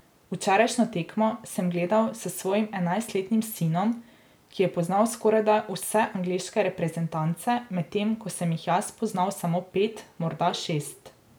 Včerajšnjo tekmo sem gledal s svojim enajstletnim sinom, ki je poznal skorajda vse angleške reprezentance, medtem ko sem jih jaz poznal samo pet, morda šest.